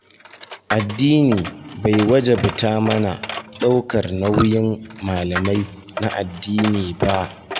Addini bai wajabta mana ɗaukar nauyin malamai na addini ba.